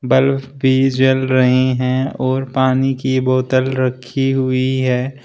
Bulb भी जल रही हैं और पानी की बोतल रखी हुई है।